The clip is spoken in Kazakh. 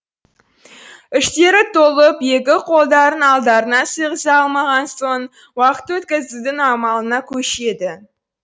іштері толып екі қолдарын алдарына сыйғыза алмаған соң уақыт өткізудің амалына көшеді